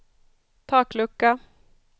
taklucka